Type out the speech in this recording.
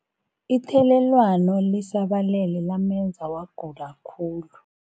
Ithelelwano lisabalele lamenza wagula khulu.